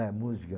É, música.